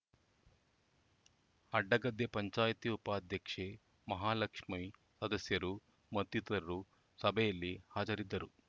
ಅಡ್ಡಗದ್ದೆ ಪಂಚಾಯಿತಿ ಉಪಾಧ್ಯಕ್ಷೆ ಮಹಾಲಕ್ಷಮಿಸದಸ್ಯರು ಮತ್ತಿತರರು ಸಭೆಯಲ್ಲಿ ಹಾಜರಿದ್ದರು